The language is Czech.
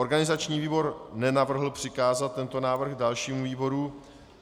Organizační výbor nenavrhl přikázat tento návrh dalšímu výboru.